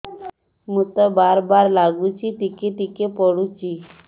ମୁତ ବାର୍ ବାର୍ ଲାଗୁଚି ଟିକେ ଟିକେ ପୁଡୁଚି